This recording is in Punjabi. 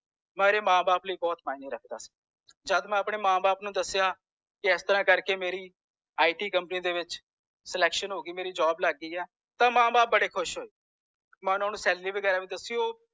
ਮੇਰੇ ਮਾਂ ਬਾਪ ਲਯੀ ਬੋਹੋਤ ਮਾਇਨੇ ਰੱਖਦਾ ਸੀ ਜੱਦ ਮੈ ਆਪਣੇ ਮਾਂ ਬਾਪ ਨੂੰ ਦੱਸਿਆ ਇਸ ਤਰਾਹ ਕਰਕੇ ਮੇਰੀ i tਕੰਪਨੀ ਦੇ ਵਿਚ selection ਹੋਗੀ ਆ ਮੇਰੀ job ਲਗ ਗਈ ਆ ਤਾਂ ਮਾਂ ਬਾਪ ਬੜੇ ਖੁਸ਼ ਹੋਏ ਮੈਂ ਓਹਨਾ ਨੂੰ salary ਵਗੈਰਾ ਵੀ ਦਸੀ ਓ